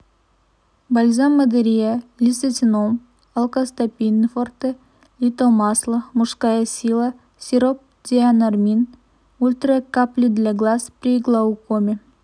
бальзам мадерия лицетином алкостопин форте литомасло мужская сила сироп дианормин ультра капли для глаз при глаукоме